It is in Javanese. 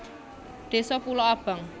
Désa Pulo Abang